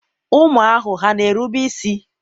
ụmụ ahụ hà na-erube isi?